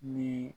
Ni